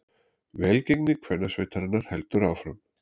Velgengni kvennasveitarinnar heldur áfram